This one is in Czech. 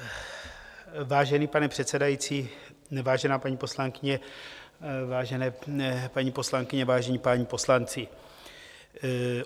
Vážený pane předsedající, vážená paní poslankyně, vážené paní poslankyně, vážení páni poslanci.